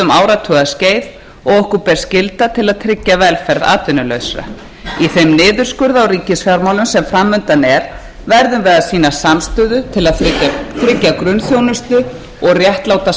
áratugaskeið og okkur ber skylda til að tryggja velferð atvinnulausra í þeim niðurskurði á ríkisfjármálum sem framundan er verðum við að sýna samstöðu til að tryggja grunnþjónustu og réttláta